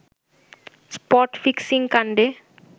spot ফিক্সিংকাণ্ডে